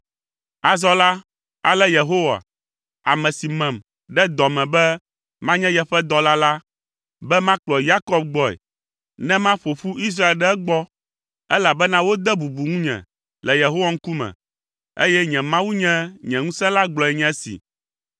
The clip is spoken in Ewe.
Azɔ la, ale Yehowa, ame si mem ɖe dɔ me be manye yeƒe dɔla la, be makplɔ Yakob gbɔe ne maƒo ƒu Israel ɖe egbɔ, elabena wode bubu ŋunye le Yehowa ŋkume, eye nye Mawu nye nye ŋusẽ la gblɔe nye esi: